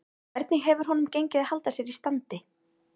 Hvernig hefur honum gengið að halda sér í standi?